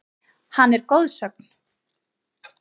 Hann er goðsögn.